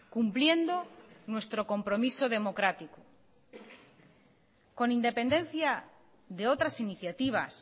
cumpliendo nuestro compromiso democrático con independencia de otras iniciativas